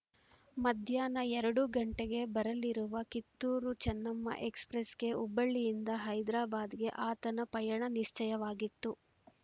ಮಧ್ಯಾಹ್ನ ಎರಡು ಗಂಟೆಗೆ ಬರಲಿರುವ ಕಿತ್ತೂರುಚೆನ್ನಮ್ಮ ಎಕ್ಸ್‌ಪ್ರೆಸ್ಸಿಗೆ ಹುಬ್ಬಳ್ಳಿಯಿಂದ ಹೈದ್ರಾಬಾದಿಗೆ ಆತನ ಪಯಣ ನಿಶ್ಚಯವಾಗಿತ್ತು